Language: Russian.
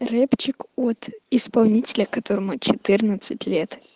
рэпчик от исполнителя которому четырнадцать лет